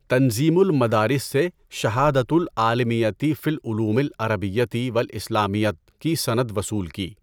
تنظیمُ المَدارِس سے شہادةُ العَالِمِیَّۃِ فِی العُلُومِ العَرَبِیَّۃِ والاِسلامِیَّۃِ کی سند وصول کی۔